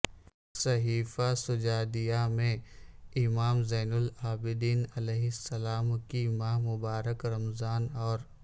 صحیفہ سجادیہ میں امام زین االعابدین علیہ السلام کی ماہ مبارک رمضان اور